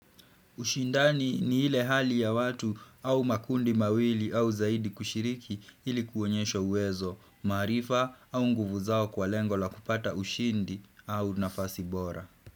Ushindani ni ile hali ya watu au makundi mawili au zaidi kushiriki ili kuonyesha uwezo, maarifa au nguvu zao kwa lengo la kupata ushindi au nafasi bora.